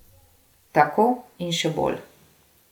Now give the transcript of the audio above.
Tako in še bolj.